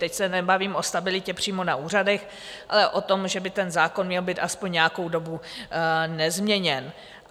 Teď se nebavím o stabilitě přímo na úřadech, ale o tom, že by ten zákon měl být aspoň nějakou dobu nezměněn.